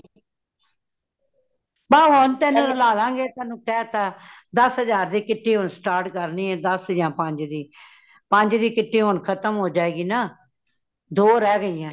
ਬੱਸ ਹੋਣ ਤੈਨੂੰ ਰਲਾਲਾ ਗੇ ਤੈਨੂੰ ਕੇਤਾ, ਦਾਸ ਹਜਾਰ ਦੀ kitty ਹੁਣ start ਕਰਨੀ ਹੈ ਦਾਸ ਯਾ ਪੰਜ ਦੀ , ਪੰਜ ਦੀ kitty ਹੋਣ ਖ਼ਤਮ ਹੋ ਜਾਏਗੀ ਨਾ ਦੋ ਰਹੇ ਗਈਆਂ